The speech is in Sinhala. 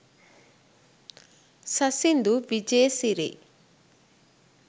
sasindu wijesiri